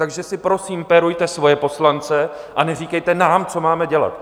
Takže si prosím pérujte svoje poslance a neříkejte nám, co máme dělat!